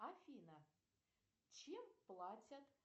афина чем платят